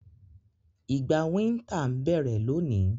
Ìgbà winter n bẹ́rẹ́ loni